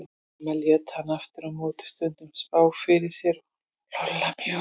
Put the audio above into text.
Mamma lét hana aftur á móti stundum spá fyrir sér og Lolla mjög oft.